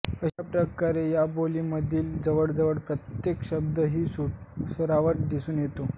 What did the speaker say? अशा प्रकारे या बोलीमधील जवळजवळ प्रत्येक शब्दात ही सुरावट दिसून येते